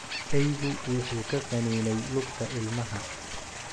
Eygu wuxuu ka qaniinay lugta ilmaha.